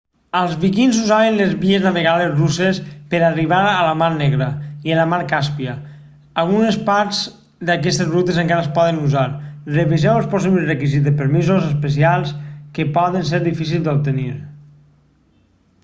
els vikings usaven les vies navegables russes per a arribar a la mar negra i a la mar càspia algunes parts d'aquestes rutes encara es poden usar reviseu possibles requisits de permisos especials que poden ser difícils d'obtenir